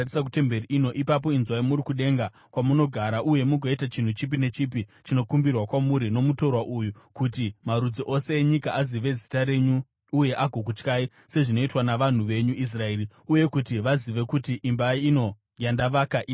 ipapo inzwai muri kudenga kwamunogara, uye mugoita chinhu chipi nechipi chinokumbirwa kwamuri nomutorwa uyu, kuti marudzi ose enyika azive zita renyu uye agokutyai, sezvinoitwa navanhu venyu Israeri, uye kuti vazive kuti imba ino yandavaka ine Zita renyu.